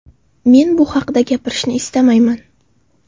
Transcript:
Men bu haqida gapirishni istamayman.